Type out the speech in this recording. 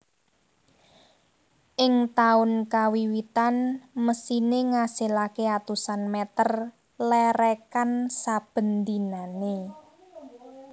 Ing taun kawiwitan mesine ngasilake atusan meter lerekan saben dinane